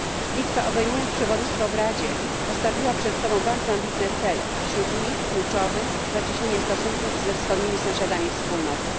Litwa, obejmując przewodnictwo w Radzie, postawiła przed sobą bardzo ambitne cele, a wśród nich kluczowy zacieśnienie stosunków ze wschodnimi sąsiadami Wspólnoty.